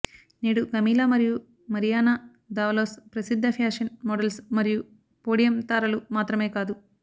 నేడు కమీలా మరియు Mariana Davalos ప్రసిద్ధ ఫ్యాషన్ మోడల్స్ మరియు పోడియం తారలు మాత్రమే కాదు